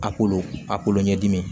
A kolo a kolo ɲɛdimi